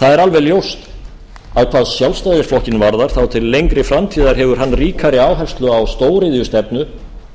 það er alveg ljóst að hvað sjálfstæðisflokkinn varðar þá til lengri framtíðar hefur hann ríkari áherslu á stóriðjustefnu